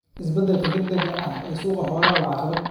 Isbeddelka degdega ah ee suuqa xoolaha waa caqabad.